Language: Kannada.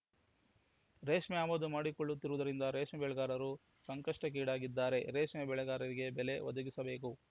ರೇಷ್ಮೆ ಆಮದು ಮಾಡಿಕೊಳ್ಳುತ್ತಿರುವುದರಿಂದ ರೇಷ್ಮೆ ಬೆಳೆಗಾರರು ಸಂಕಷ್ಟಕ್ಕೀಡಾಗಿದ್ದಾರೆ ರೇಷ್ಮೆ ಬೆಳೆಗಾರರಿಗೆ ಬೆಲೆ ಒದಗಿಸಬೇಕು